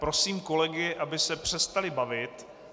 Prosím kolegy, aby se přestali bavit.